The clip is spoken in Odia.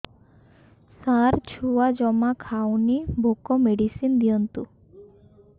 ସାର ଛୁଆ ଜମା ଖାଉନି ଭୋକ ମେଡିସିନ ଦିଅନ୍ତୁ